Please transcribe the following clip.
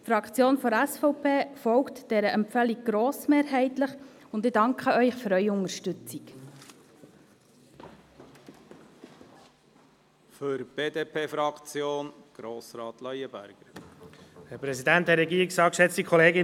Die Fraktion der SVP folgt dieser Empfehlung grossmehrheitlich, und ich danke Ihnen für Ihre Unterstützung.